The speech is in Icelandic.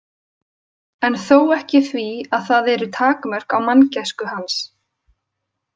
En þó ekki því að það eru takmörk á manngæsku hans.